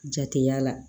Jate y'a la